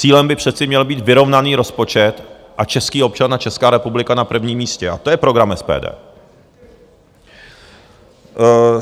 Cílem by přece měl být vyrovnaný rozpočet a český občan a Česká republika na prvním místě, a to je program SPD.